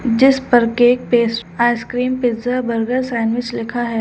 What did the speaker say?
जिस पर cake paste ice cream pizza burger sandwich लिखा है।